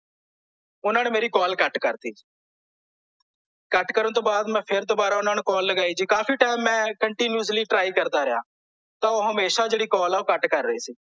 ਓਹਨਾਂ ਨੇ ਮੇਰੀ ਕਾਲ ਕੱਟ ਕਰ ਦਿੱਤੀ ਕੱਟ ਕਰਨ ਤੋਂ ਬਾਅਦ ਮੈਂ ਫੇਰ ਦੋਬਾਰਾ ਓਹਨਾਂ ਨੂੰ ਕਾਲ ਲਗਾਈ ਜੀ ਕਾਫੀ ਟਾਈਮ ਮੈਂ continuously try ਕਰਦਾ ਰਿਹਾ ਤਾਂ ਓਹ ਹਮੇਸ਼ਾ ਜਿਹੜੀ ਕਾਲ ਅ ਓਹ ਕੱਟ ਕਰ ਰਹੇ ਸੀ